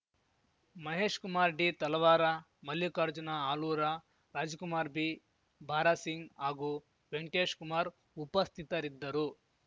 Mahesh Kumar D Talawar Mallikarjuna Alur Rajkumar B Bharasingh ಹಾಗೂ ವೆಂಕಟೇಶ್ ಕುಮಾರ್‌ ಉಪಸ್ಥಿತರಿದ್ದರು